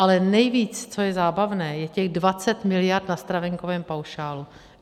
Ale nejvíc, co je zábavné, je těch 20 mld. na stravenkovém paušálu.